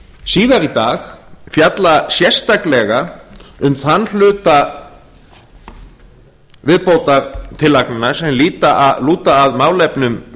síðar í dag fjalla sérstaklega um þann hluta viðbótartillagnanna sem lúta að málefnum